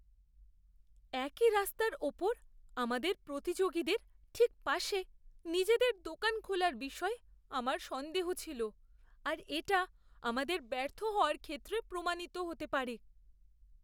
একই রাস্তার ওপর আমাদের প্রতিযোগীদের ঠিক পাশে নিজেদের দোকান খোলার বিষয়ে আমার সন্দেহ ছিল আর এটা আমাদের ব্যর্থ হওয়ার ক্ষেত্রে প্রমাণিত হতে পারে।